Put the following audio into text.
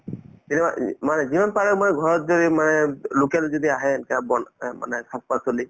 তেতিয়াহলে ই মানে যিমান পাৰে মানে ঘৰত যদি মানে local যদি আহে অ মানে শাক-পাচলি